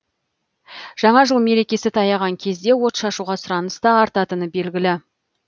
жаңа жыл мерекесі таяған кезде отшашуға сұраныс та артатыны белгілі